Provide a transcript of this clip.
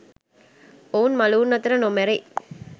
ඔවුන් මළවුන් අතර නොමැරෙයි.